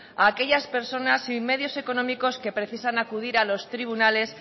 a aquellas personas sin medios económicos que precisan acudir a los tribunales